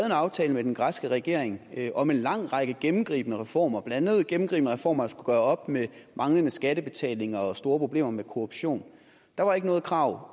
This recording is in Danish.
en aftale med den græske regering om en lang række gennemgribende reformer blandt andet gennemgribende reformer der skulle gøre op med manglende skattebetaling og store problemer med korruption der var ikke noget krav